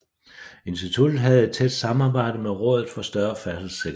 Instituttet havde et tæt samarbejde med Rådet for Større Færdselssikkerhed